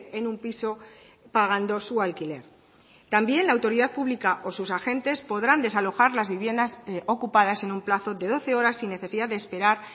en un piso pagando su alquiler también la autoridad pública o sus agentes podrán desalojar las viviendas ocupadas en un plazo de doce horas sin necesidad de esperar